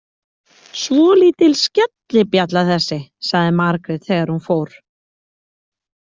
Svolítil skellibjalla þessi, sagði Margrét þegar hún fór.